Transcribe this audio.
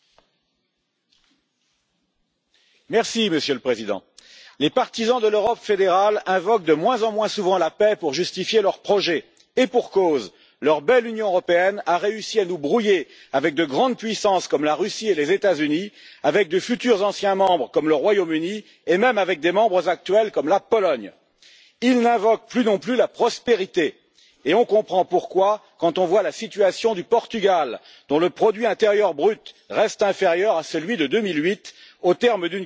Monsieur le Président, les partisans de l'Europe fédérale invoquent de moins en moins souvent la paix pour justifier leur projet, et pour cause, leur belle Union européenne a réussi à nous brouiller avec de grandes puissances comme la Russie et les États Unis, avec de futurs anciens membres, comme le Royaume Uni, et même avec des membres actuels, comme la Pologne. Ils n'invoquent plus non plus la prospérité et on comprend pourquoi quand on voit la situation du Portugal, dont le produit intérieur brut reste inférieur à celui de 2008, au terme d'une cure d'austérité d'une dureté sans précédent.